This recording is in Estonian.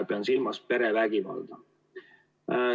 Pean silmas perevägivalda.